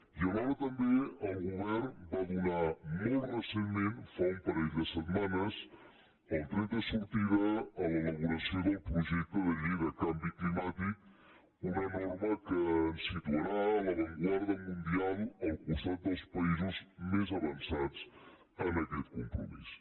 i alhora també el govern va donar molt recentment fa un parell de setmanes el tret de sortida a l’elaboració del projecte de llei de canvi climàtic una norma que ens situarà a l’avantguarda mundial al costat dels països més avançats en aquest compromís